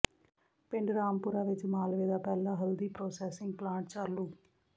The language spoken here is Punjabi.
ਪਿੰਡ ਰਾਮਪੁਰਾ ਵਿੱਚ ਮਾਲਵੇ ਦਾ ਪਹਿਲਾ ਹਲਦੀ ਪ੍ਰਾਸੈਸਿੰਗ ਪਲਾਂਟ ਚਾਲੂ